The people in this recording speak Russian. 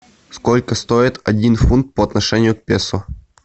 сколько стоит один фунт по отношению к песо